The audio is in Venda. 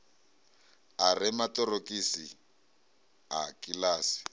a re maṱorokisi a kiḽasi